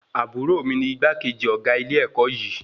Àbúrò mí ní igbákejì ọgá ilé-èkó yìí